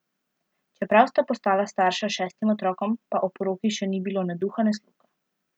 Čeprav sta postala starša šestim otrokom, pa o poroki še ni bilo ne duha ne sluha.